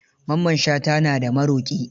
Mamman Shata na da maroƙi.